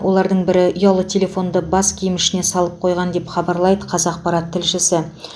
олардың бірі ұялы телефонды бас киім ішіне салып қойған деп хабарлайды қазақпарат тілшісі